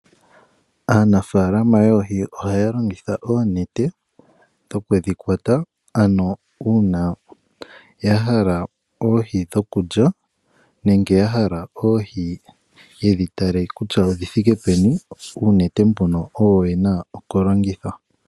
Aanafaalama yoohi ohaa longitha oonete okundhi kwata ano uuna yahala oohi dhokulya nenge yahala oku tala kutya oohi odhi thike peni uunete mbyono oyo yena okulongitha.